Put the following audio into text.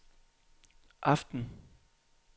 aften